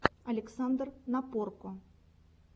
александр напорко